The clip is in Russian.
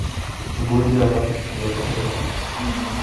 гладиатор закачай